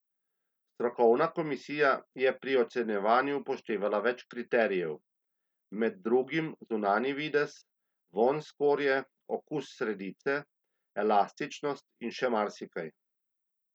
Strokovna komisija je pri ocenjevanju upoštevala več kriterijev, med drugim zunanji videz, vonj skorje, okus sredice, elastičnost in še marsikaj.